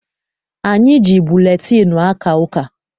Anyị ji buletịịnụ aka ụka.